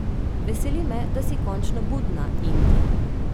Veseli me, da si končno budna, Indi.